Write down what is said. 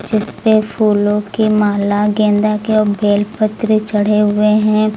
जिस पे फूलों की माला गेंदा के और बेलपत्र चढ़े हुए हैं।